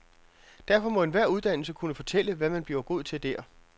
Derfor må enhver uddannelse kunne fortælle, hvad man bliver god til der.